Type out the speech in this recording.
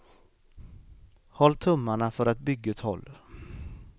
Håll tummarna för att bygget håller.